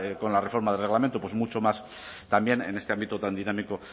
con la reforma del reglamento pues mucho más también en este ámbito tan dinámico